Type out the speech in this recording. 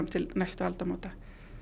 til næstu aldamóta